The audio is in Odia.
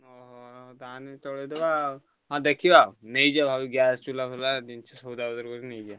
ହଁ ହଉ ଆଉ ତାହେଲେ ଚଳେଇଦବା ଆଉ ହଁ ଦେଖିବା ଆଉ ନେଇଯିବା ଭାରି gas ଚୁଲା ଫୁଲା ଉଁ ସଜଡା ଫଜଡା କରି ନେଇଯିବା ଆଉ।